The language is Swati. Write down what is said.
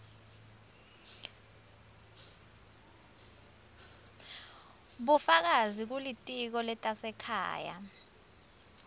bufakazi kulitiko letasekhaya